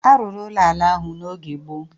A rụrụ ụlọ ala ahụ n'oge gboo